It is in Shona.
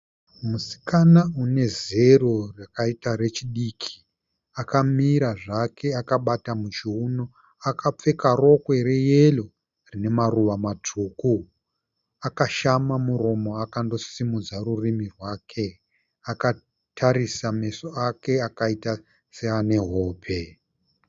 Musikana une zero rakaita rechidiki. Akamira zvake akabata muchiuno. Akapfeka rokwe reyero rine maruva matsvuku. Akashama muromo akandosimudza rurimi rwake. Akatarisa meso ake akaita seane hope.